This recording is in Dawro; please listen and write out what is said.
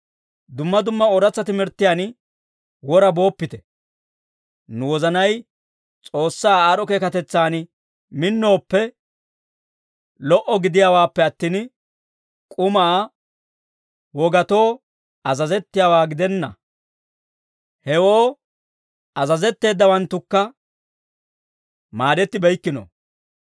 Dumma dumma ooratsa timirttiyaan wora booppite. Nu wozanay S'oossaa aad'd'o keekatetsan minnooppe lo"o gidiyaawaappe attin, k'umaa wogatoo azazettiyaawaa gidenna; hewoo azazetteeddawanttukka maadettibeykkino.